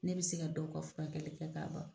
Ne bɛ se ka dɔw ka furakɛli kɛ k'a ban.